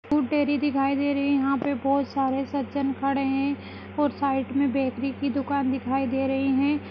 Food dairy दिखाई दे रहीं यहाँ पर बोत सारे सज्जन खड़े हैं और साइड मे बैकरी की दुकान दिखाई दे रही हैं ।